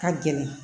Ka gɛlɛn